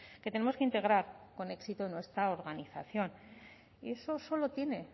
que tenemos que integrar con éxito en nuestra organización eso solo tiene